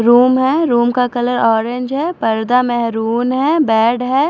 Room है room का colour orange है पर्दा मेहरून है बेड है।